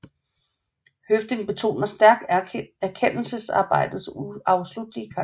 Høffding betoner stærkt erkendelsesarbejdets uafsluttelige karakter